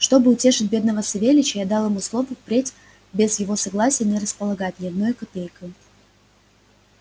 чтоб утешить бедного савельича я дал ему слово впредь без его согласия не располагать ни одною копейкою